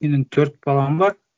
менің төрт балам бар